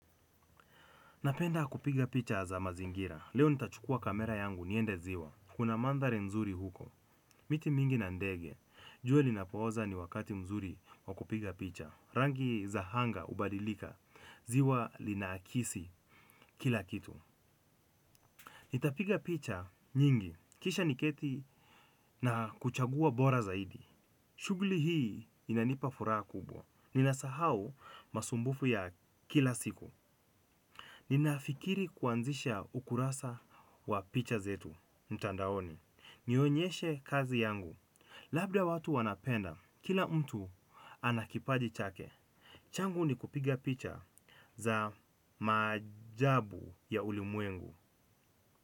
Napenda kupiga picha za mazingira leo nitachukua kamera yangu niende ziwa. Kuna mandhari mzuri huko. Miti mingi na ndege. Jua linapooza ni wakati mzuri wa kupiga picha. Rangi za anga hubadilika. Ziwa linaakisi kila kitu. Nitapiga picha nyingi. Kisha niketi na kuchagua bora zaidi. Shughuli hii inanipa furaha kubwa. Ninasahau masumbufu ya kila siku. Ninafikiri kuanzisha ukurasa wa picha zetu mtandaoni. Nionyeshe kazi yangu labda watu wanapenda, kila mtu ana kipaji chake changu ni kupiga picha za maajabu ya ulimwengu.